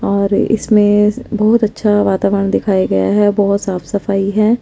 और इसमे बहुत अच्छा वातावरण दिखाया गया है बहुत साफ सफाई है ।